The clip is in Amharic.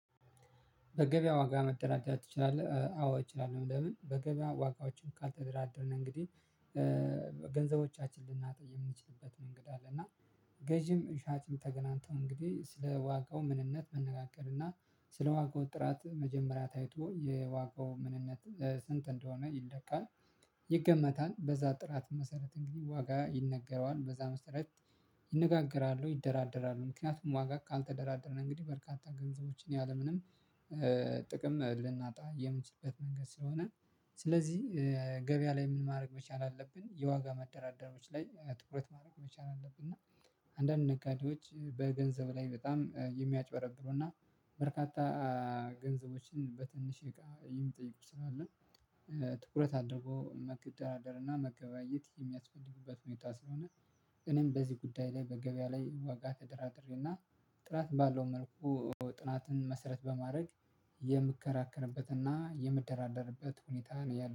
በገበያ ዋጋ መደራደር ትችላለህ? አዎ እችላለሁ። ለምን በገበያ ዋጋዎችን ካልተደራደርን እንግዲህ ገንዘቦቻችን ልናጣ የምንችልበት መንገድ አለ። እና ገዢም ሻጭም ተገናንተው እንግዲህ ስለ ዋጋው ምንነት መነጋገር እና ስለ ዋጋው ጥራት መጀመሪያ ታይቶ የዋጋው ምንነት ስንት እንደሆነ ይለካል። ይገመታል በዛ ጥራት መሰረት እንግዲህ ዋጋ ይነገረዋል በዛ መሰረት ይነጋገራሉ ይደራደራሉ ምክንያቱም ዋጋ ካልተደራደረን እንግዲህ በርካታ ገንዘቦችን ያለምንም ጥቅም ልናጣ የምንችልበት መንገድ ስለሆነ። ስለዚህ ገበያ ላይ ምን ማድረግ መቻል አለብን የዋጋ መደራደሮች ላይ ትኩረት ማድረግ መቻል አለብን። እና አንዳንድ ነጋዴዎች በገንዘብ ላይ በጣም የሚያጭበረብሩና በርካታ ገንዘቦችን በትንሽ እቃ የሚጠይቁ ትላሉ ትኩረት አድርጎ መደራደር እና መገበያየት የሚያስፈልግበት ሁኔታ ስለሆነ። እኔም በዚህ ጉዳይ ላይ በገበያ ላይ ዋጋ ተደራድሬና ጥራት ባለው መልኩ ጥራትን መሰረት በማድረግ የምከራከርበትና የምደራደርበት ሁኔታ ነው ያለው